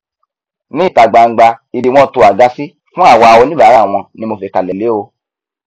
ní ìta gbangba ibi wọn to àga sí fún àwa oníbàárà wọn ni mo fìkàlẹ lé o